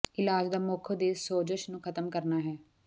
ਇਲਾਜ ਦਾ ਮੁੱਖ ਉਦੇਸ਼ ਸੋਜਸ਼ ਨੂੰ ਖ਼ਤਮ ਕਰਨਾ ਹੈ